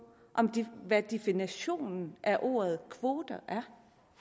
hvad definitionen af ordet kvote er